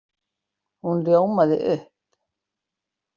Hún ljómaði upp!